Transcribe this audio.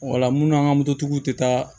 Wala munnu an ka moto tigiw tɛ taa